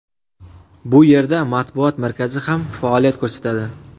Bu yerda matbuot markazi ham faoliyat ko‘rsatadi.